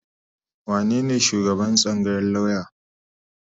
Wanene shugaban tsangayar lauya?